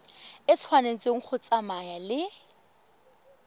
e tshwanetse go tsamaya le